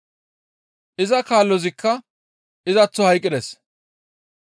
Iza kaalozikka izaththo hayqqides;